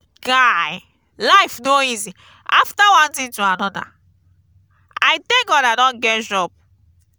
guy life no easy after one thing to another. i thank god i don get job.